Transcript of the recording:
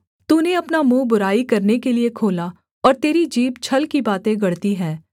तूने अपना मुँह बुराई करने के लिये खोला और तेरी जीभ छल की बातें गढ़ती है